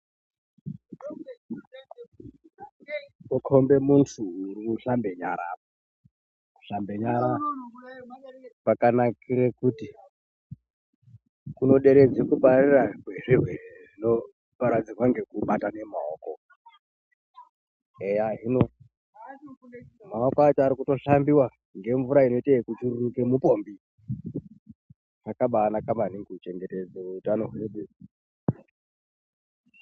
Kukombe muntu urikushambe nyara apa. Kushambe nyara kwakanakire kuti kunoderedze kupararira kwezvirwere zvinoparadzirwa ngekubatane maoko. Eya hino maoko acho arikuto shambiwa ngemvura inoite ekuchururuka mupombi. Zvakabanaka maningi kuchengetedze utano hwedu.